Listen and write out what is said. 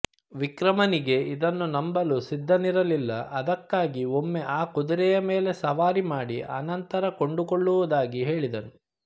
ವಿಕ್ರಮನಿಗೆ ಇದನ್ನು ನಂಬಲು ಸಿದ್ಧನಿರಲಿಲ್ಲ ಅದಕ್ಕಾಗಿ ಒಮ್ಮೆ ಆ ಕುದುರೆಯ ಮೇಲೆ ಸವಾರಿ ಮಾಡಿ ಆನಂತರ ಕೊಂಡುಕೊಳ್ಳುವುದಾಗಿ ಹೇಳಿದನು